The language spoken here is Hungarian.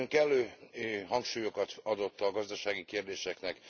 Ön kellő hangsúlyokat adott a gazdasági kérdéseknek.